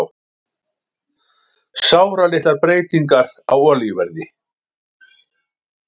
Sáralitlar breytingar á olíuverði